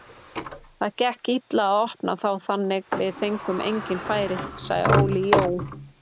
Það gekk illa að opna þá þannig við fengum engin færi, sagði Óli Jó.